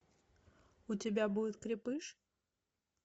у тебя будет крепыш